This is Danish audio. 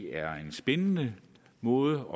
er en spændende måde